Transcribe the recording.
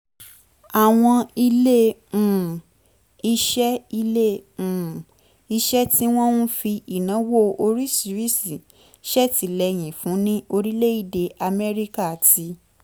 àwọn ilé um iṣẹ́ ilé um iṣẹ́ tí wọ́n ń fi ìnáwó oríṣiríṣi ṣètìlẹ́yìn fún ní orílẹ̀-èdè amẹ́ríkà ti